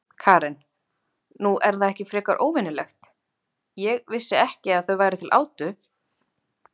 Karen: Nú, er það ekki frekar óvenjulegt, ég vissi ekki að það væri til átu?